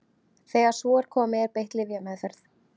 Þegar svo er komið er beitt lyfjameðferð.